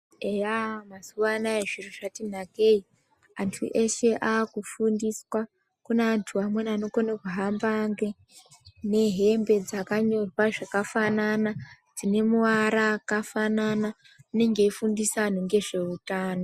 Eya mazuwanaya zviro zvati nakei antu eshe akufundiswa , kune antu amweni anokona kuhamba nge nehembe dzakanyorwa zvakafanana dzine muara akafanana anenge eifundisa anhu ngezveutano.